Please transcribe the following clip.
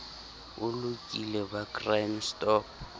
o lokile ba crime stop